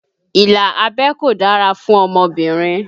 Ìlà abẹ́ kò dára fún ọmọbìnrin